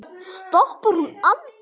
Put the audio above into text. Já, stoppar hún aldrei?